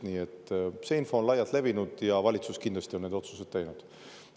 Nii et see info on laialt levinud ja valitsus kindlasti on need otsused teinud.